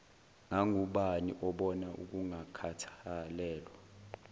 ngangubani obona ukungakhathalelwa